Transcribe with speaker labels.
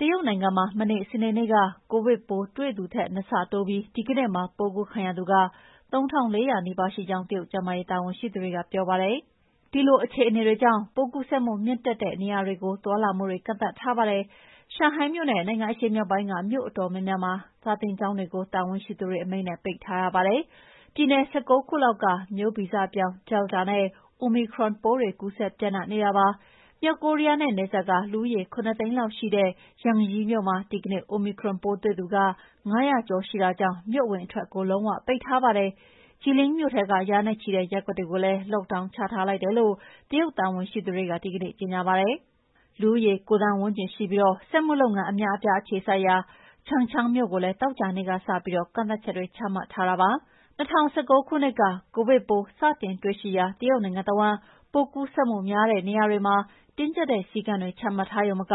Speaker 1: တရုတ်နိုင်ငံမှာ မနေ့ စနေနေ့က ကိုဗစ်ပိုးတွေ့သူထက် နှစ်ဆတိုးပြီး ဒီကနေ့မှာ ပိုးကူးခံရသူ ၃,၄၀၀ နီးပါးရှိကြောင်း တရုတ်ကျန်းမာရေး တာဝန်ရှိသူတွေက ပြောပါတယ်။ ဒီအခြေအနေကြောင့် ပိုးကူးစက်မှုမြင့်တက်တဲ့ နေရာတွေကို သွားလာမှုတွေ ကန့်သတ်ထားပါတယ်။ ရှန်ဟိုင်းမြို့နဲ့ နိုင်ငံအရှေ့မြောက်ပိုင်းက မြို့အတော်များများက စာသင်ကျောင်းတွေကို တာဝန်ရှိသူတွေအမိန့်နဲ့ ပိတ်ထားရပါတယ်။ ပြည်နယ် ၁၉ ခုလောက်မှာ မျိုးဗီဇပြောင်း Delta နဲ့ Omicron ပိုးတွေ ကူးစက်ပျံ့နှံ့နေတာပါ။ မြောက်ကိုရီးယားနဲ့နယ်စပ်က လူဦးရေ ၇ သိန်းလောက်ရှိတဲ့ Yanji မြို့မှာ ဒီကနေ့ Omicron ပိုးတွေ့သူ ၅၀၀ ကျော် ရှိတဲ့အတွက် မြို့အဝင်အထွက် လုံးဝပိတ်ထားပါတယ်။ Jilin မြို့ထဲက ရာနဲ့ချီတဲ့ ရပ်ကွက်တွေကိုလည်း Lockdown ချထားလိုက်တယ်လို့ တရုတ်တာဝန်ရှိသူတွေ ဒီကနေ့ ကြေညာပါတယ်။ လူဦးရေ ၉ သန်းဝန်းကျင်ရှိပြီး စက်မှုလုပ်ငန်း အများအပြား အခြေစိုက်ရာ Changchun မြို့ကိုလည်း သောကြာနေ့ကစပြီး ကန့်သတ်ချက်တွေ ချမှတ်ထားတာပါ။ ၂၀၁၉ ခုနှစ် ကိုဗစ်ပိုး စတင်တွေ့ရှိရာ တရုတ်နိုင်ငံတဝန်း ပိုးကူးစက်မှုများတဲ့ နေရာတွေမှာ တင်းကျပ်တဲ့ စည်းကမ်းတွေ ချမှတ်ရုံမက